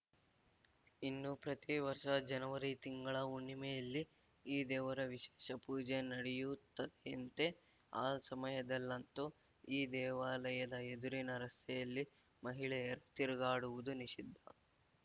ಇನ್ನು ಪ್ರತಿವರ್ಷ ಜನವರಿ ತಿಂಗಳ ಹುಣ್ಣಿಮೆಯಲ್ಲಿ ಈ ದೇವರ ವಿಶೇಷ ಪೂಜೆ ನಡೆಯುತ್ತದೆಯಂತೆ ಆ ಸಮಯದಲ್ಲಂತೂ ಈ ದೇವಾಲಯದ ಎದುರಿನ ರಸ್ತೆಯಲ್ಲಿ ಮಹಿಳೆಯರು ತಿರುಗಾಡುವುದೂ ನಿಷಿದ್ಧ